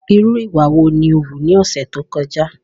Irú ìwà wo ni o wù ní ọ̀sẹ̀ tó kọjá?